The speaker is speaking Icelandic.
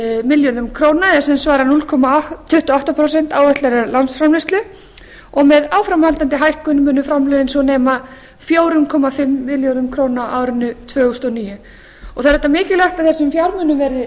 milljörðum króna eða sem svarar núll komma tuttugu og átta prósent áætlaðrar landsframleiðslu og með áframhaldandi hækkun munu framlögin svo nema fjóra komma fimm milljörðum króna á árinu tvö þúsund og níu það er auðvitað mikilvægt að þessum fjármunum verði vel varið